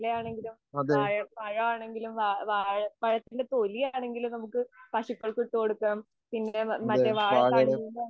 അതെ.അതെ, വാഴയില.